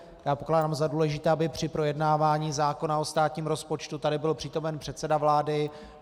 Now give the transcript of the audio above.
Já pokládám za důležité, aby při projednávání zákona o státním rozpočtu tady byl přítomen předseda vlády.